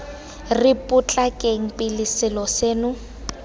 re potlakeng pele selo seno